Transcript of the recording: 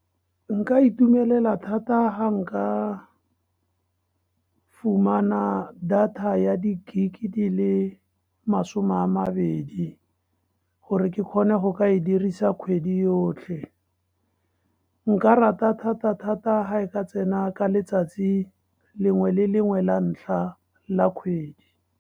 Nka itumelela thata ha nka fumana data ya di-gig-ke di le masome a mabedi, gore ke kgone go ka e dirisa kgwedi yotlhe. Nka rata thata-thata ha e ka tsena ka letsatsi lengwe le lengwe la ntlha la kgwedi.